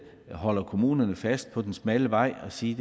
holder kommunerne fast på den smalle vej og sige